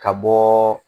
Ka bɔɔ